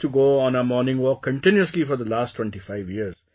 They used to go on a morning walk continuously for the last twentyfive years